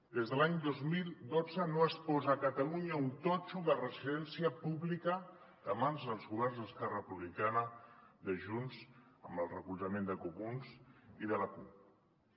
des de l’any dos mil dotze no es posa a catalunya un totxo de residència pública de mans dels governs d’esquerra republicana de junts amb el recolzament dels comuns i de la cup